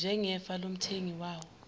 njengefa lomthengi wawo